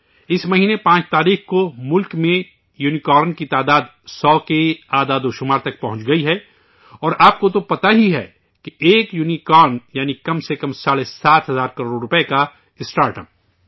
اس مہینے 5 تاریخ کو ملک میں یونیکارن کی تعداد 100 کے اعدادوشمار تک پہنچ گئی ہے اور آپ کو تو پتہ ہی ہے، ایک یونیکارن ، یعنی ، کم از کم ساڑھے سات ہزار کروڑ روپئے کا اسٹارٹ اپ